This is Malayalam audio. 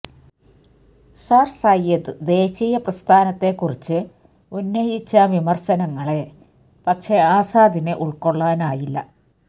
സര് സയ്യിദ് ദേശീയ പ്രസ്ഥാനത്തെക്കുറിച്ച് ഉന്നയിച്ച വിമര്ശനങ്ങളെ പക്ഷേ ആസാദിന് ഉള്കൊള്ളാനായില്ല